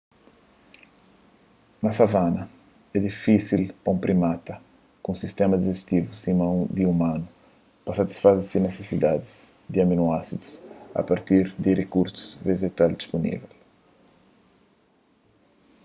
na savana é difísil pa un primata ku un sistéma dijistivu sima di umanus pa satisfaze se nisisidadis di aminoásidus a partir di rikursus vejetal dispunível